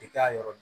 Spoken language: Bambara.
I k'a yɔrɔ